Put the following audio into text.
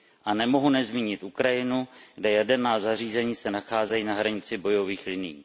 A nemohu nezmínit Ukrajinu, kde jaderná zařízení se nacházejí na hranici bojových linií.